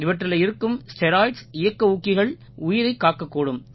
இவற்றில இருக்கும் ஸ்டெராய்ட்ஸ் இயக்க ஊக்கிகள் உயிரைக் காக்கக் கூடும்